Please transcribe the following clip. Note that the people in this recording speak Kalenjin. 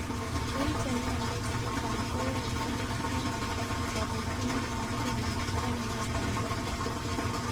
Eng' chemiondos chechang' koyoe teget neng'wan, kabuukyinet ab muguleldo ak meet ab muguleldo